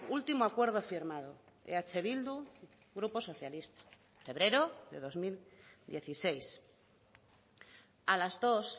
último acuerdo firmado eh bildu grupo socialista febrero de dos mil dieciséis a las dos